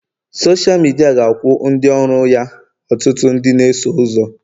Sọsha midia ga-akwụ ndị ọrụ ya ọtụtụ ndị na-eso ụzọ